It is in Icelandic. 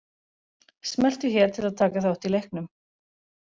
Smelltu hér til að taka þátt í leiknum